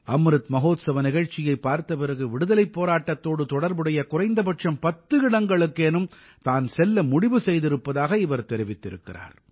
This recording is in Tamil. அம்ருத் மஹோத்சவ நிகழ்ச்சியைப் பார்த்த பிறகு விடுதலைப் போராட்டத்தோடு தொடர்புடைய குறைந்தபட்சம் பத்து இடங்களுக்கேனும் தான் செல்ல முடிவு செய்திருப்பதாக இவர் தெரிவித்திருக்கிறார்